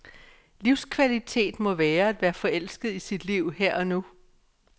Livskvalitet må være at være forelsket i sit liv her og nu.